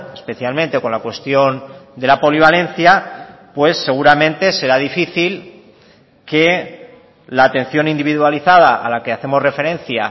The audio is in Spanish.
especialmente con la cuestión de la polivalencia pues seguramente será difícil que la atención individualizada a la que hacemos referencia